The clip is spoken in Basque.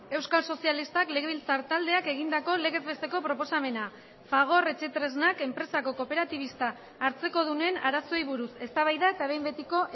euskal sozialistak legebiltzar taldeak egindako legez besteko proposamena fagor etxetresnak enpresako kooperatibista hartzekodunen arazoei buruz eztabaida eta behin betiko